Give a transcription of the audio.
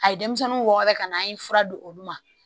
A ye denmisɛnninw wɔgɔbɛ ka na an ye fura di olu ma